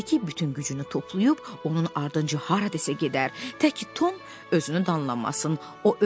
bütün gücünü toplayıb onun ardınca hara desə gedər, təki Tom özünü danlamasın.